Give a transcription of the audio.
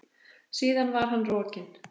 Síðan var hann rokinn.